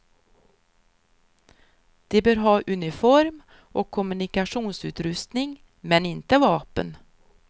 De bör ha uniform och kommunikationsutrustning men inte vapen.